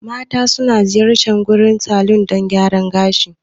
Mata suna ziyartar gurin salon dan gyaran gashi.